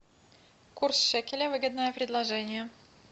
курс шекеля выгодное предложение